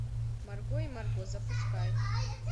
марго и марго запускай